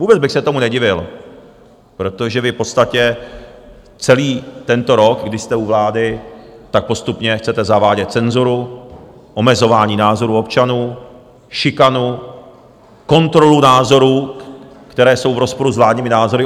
Vůbec bych se tomu nedivil, protože vy v podstatě celý tento rok, kdy jste u vlády, tak postupně chcete zavádět cenzuru, omezování názorů občanů, šikanu, kontrolu názorů, které jsou v rozporu s vládními názory.